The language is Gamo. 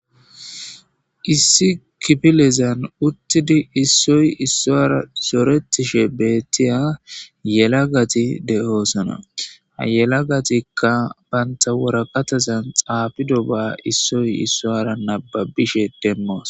issi kipilezan uttidi issoy issoara soretishe beettiya yelagati de7oosana ayelagatikka banta woraqatazan xaafido ba issoy issoara nababishe demmoos